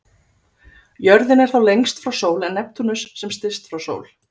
Jörðin er þá lengst frá sól en Neptúnus sem styst frá sól.